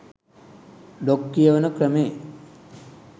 blog කියවන ක්‍රමේ